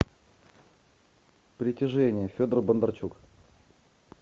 притяжение федор бондарчук